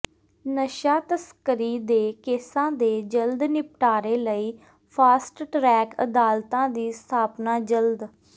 ਨਸ਼ਾ ਤਸਕਰੀ ਦੇ ਕੇਸਾਂ ਦੇ ਜਲਦ ਨਿਪਟਾਰੇ ਲਈ ਫਾਸਟ ਟਰੈਕ ਅਦਾਲਤਾਂ ਦੀ ਸਥਾਪਨਾ ਜਲਦ